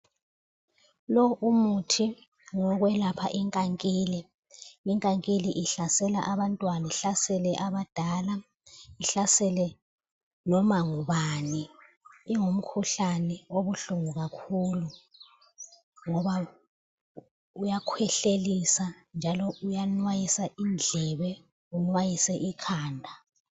Lowu umuthi ngowekwelapha inkankili, inkankili ihlasela abantwana ihlasele abadala ihlasele noma ngubani. Ingumkhuhlane obuhlungu kakhulu ngoba uyakhwehlelisa njalo iyanwayisa indlebe inwayise ikhanda.